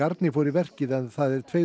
garni fór í verkið en það er tveimur